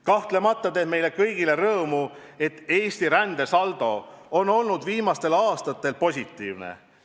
Kahtlemata teeb meile kõigile rõõmu, et Eesti rändesaldo on olnud viimastel aastatel positiivne.